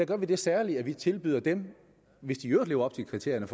gør vi det særlige at vi tilbyder dem hvis de i øvrigt lever op til kriterierne